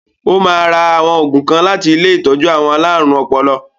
Ó ma ra àwọn ògùn kan láti ilé ìtọ́jú àwọn alárùn ọpọlọ.